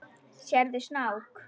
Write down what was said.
Sérðu snák?